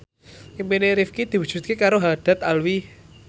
impine Rifqi diwujudke karo Haddad Alwi